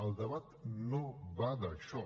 el debat no va d’això